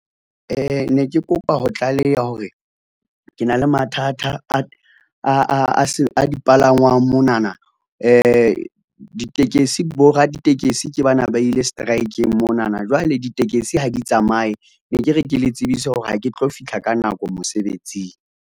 Ne ke kopa ho tlaleha hore ke na le mathata a dipalangwang monana ditekesi bo raditekesi ke bana ba ile seteraekeng monana jwale ditekesi ha di tsamaye. Ne ke re ke le tsebise hore ha ke tlo fihla ka nako mosebetsing.